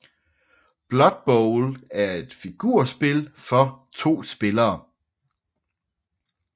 Blood Bowl er et figurspil for 2 spillere